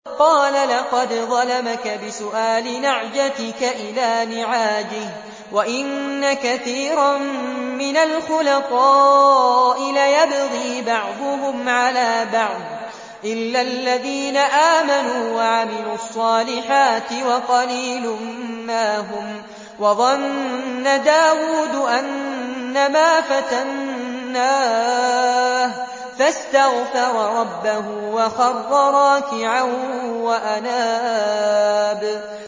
قَالَ لَقَدْ ظَلَمَكَ بِسُؤَالِ نَعْجَتِكَ إِلَىٰ نِعَاجِهِ ۖ وَإِنَّ كَثِيرًا مِّنَ الْخُلَطَاءِ لَيَبْغِي بَعْضُهُمْ عَلَىٰ بَعْضٍ إِلَّا الَّذِينَ آمَنُوا وَعَمِلُوا الصَّالِحَاتِ وَقَلِيلٌ مَّا هُمْ ۗ وَظَنَّ دَاوُودُ أَنَّمَا فَتَنَّاهُ فَاسْتَغْفَرَ رَبَّهُ وَخَرَّ رَاكِعًا وَأَنَابَ ۩